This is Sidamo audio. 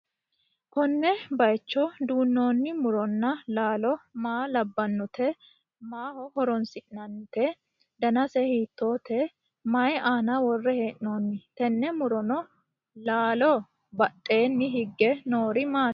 konne bayicho duunnoonni muronna laalo maa labbannote? maaho horonsi'nannite? danise hiittoho? may aana worre hee'noonni? tenne muronna laalo badheenni hige noori maati?